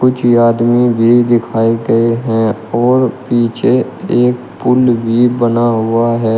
पीछे आदमी भी दिखाई दे है और पीछे एक पुल भी बना हुआ है।